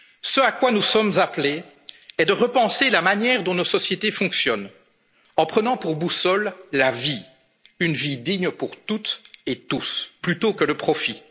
territoires. Ce à quoi nous sommes appelés est de repenser la manière dont nos sociétés fonctionnent, en prenant pour boussole la vie, une vie digne pour toutes et tous, plutôt